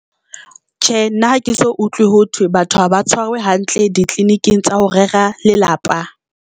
Tjhe, nna ha ke so utlwe ho thwe batho ha ba tshwarwe hantle ditleliniking tsa ho rera lelapa.